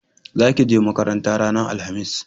Za ki je makaranta ranar alhamis!